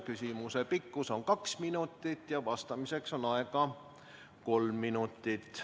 Küsimuse pikkus on kaks minutit ja vastamiseks on aega kolm minutit.